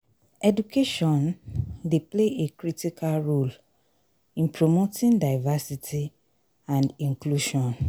education dey play a critical role in promoting diversity and inclusion.